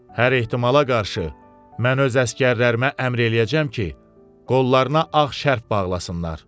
Hər ehtimala qarşı mən öz əsgərlərimə əmr eləyəcəm ki, qollarına ağ şərf bağlasınlar.